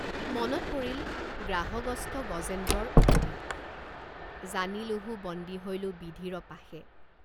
মনত পৰিল গ্ৰাহগ্ৰস্ত গজেন্দ্ৰৰ উক্তি জানিলোঁহো বন্দী হৈলোঁ বিধিৰ পাশে।